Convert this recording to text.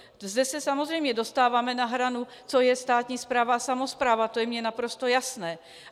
Zde se samozřejmě dostáváme na hranu, co je státní správa a samospráva, to je mně naprosto jasné.